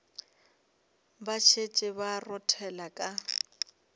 ba šetše ba rothela ka